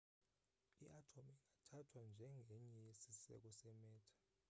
iatom ingathathwa njengenye yesiseko se-matter